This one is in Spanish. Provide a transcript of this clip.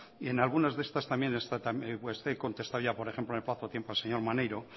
y en algunas de estas también he contestado por ejemplo en el plazo de tiempo al señor maneiro